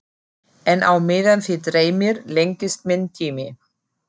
En á meðan þig dreymir lengist minn tími.